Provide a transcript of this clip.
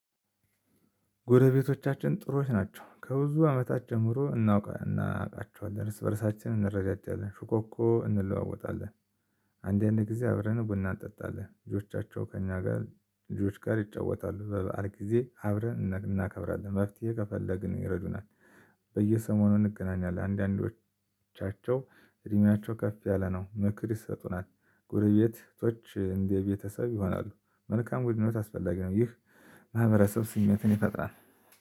ጎረቤቶቻችን ጥሩዎች ናቸው ከብዙ አመታት ጀምሮ እናውቃቸዋለን እርስ በእርሳችን እንረዳዳዋለን ሽኮኮ እንለዋወጣለን። አንዳንዴ ጊዜ አብረን ቡና እንጠጣለን ልጆቻቸው ከእኛ ጋር ልጆች ጋር ይጫወታሉ በበዓል ጊዜ አብረን እናከብራለን። መፍትሄ ከፈለግን ይረዱናል። በየሰሞኑ እንገናኛለን አንዳንዶቻቸው እድሜያቸው ከፍ ያለ ነው ምክር ይሰጡናል። ጎረቤቶች እንደ ቤተሰብ ይሆናሉ። መልካም ግንኙነት አስፈላጊ ነው። ይህ ማህበረሰብ ስሜትን ይፈጥራል።